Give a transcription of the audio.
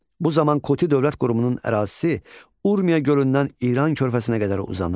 Bu zaman Kuti dövlət qurumunun ərazisi Urmiya gölündən İran körfəsinə qədər uzanırdı.